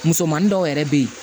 Musomanin dɔw yɛrɛ bɛ yen